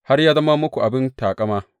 Har ya zama muku abin taƙama!